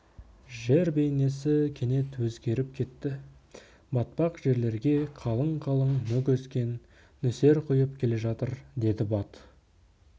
жер бейнесі кенет өзгеріп кетті батпақ жерлерге қалың-қалың мүк өскен нөсер құйып келе жатыр деді бат